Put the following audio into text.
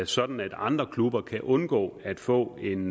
sådan at andre klubber kan undgå at få en